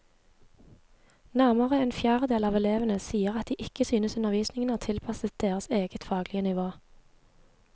Nærmere en fjerdedel av elevene sier at de ikke synes undervisningen er tilpasset deres eget faglige nivå.